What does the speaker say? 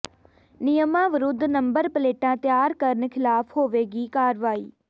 ਨਿਯਮਾਂ ਵਿਰੁੱਧ ਨੰਬਰ ਪਲੇਟਾਂ ਤਿਆਰ ਕਰਨ ਖ਼ਿਲਾਫ਼ ਹੋਵੇਗੀ ਕਾਰਵਾਈ